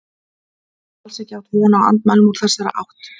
Hann hafði alls ekki átt von á andmælum úr þessari átt.